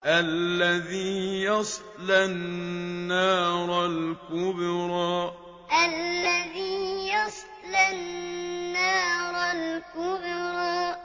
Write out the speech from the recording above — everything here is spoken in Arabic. الَّذِي يَصْلَى النَّارَ الْكُبْرَىٰ الَّذِي يَصْلَى النَّارَ الْكُبْرَىٰ